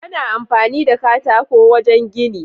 Ana amfani da katako wajan gini